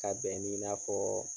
Ka bɛn ni i n'a fɔɔ